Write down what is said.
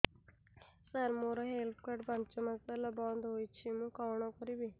ସାର ମୋର health card ପାଞ୍ଚ ମାସ ହେଲା ବଂଦ ହୋଇଛି ମୁଁ କଣ କରିବି